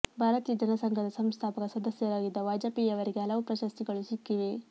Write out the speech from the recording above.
ಭಾರತೀಯ ಜನಸಂಘದ ಸಂಸ್ಥಾಪಕ ಸದಸ್ಯರಾಗಿದ್ದ ವಾಜಪೇಯಿ ಅವರಿಗೆ ಹಲವು ಪ್ರಶಸ್ತಿಗಳು ಸಿಕ್ಕಿವೆ